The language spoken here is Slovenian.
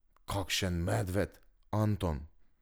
Kakšen medved, Anton!